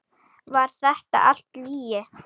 Var þetta allt lygi?